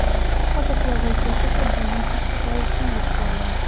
Hozirgi vaziyat esa buni tasdiqlayotgandek go‘yo.